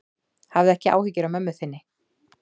Hafðu ekki áhyggjur af mömmu þinni.